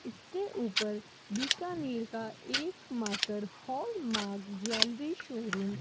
इसके ऊपर बीकानेर का एकमात्र हॉलमार्क ज्वेलरी शोरूम --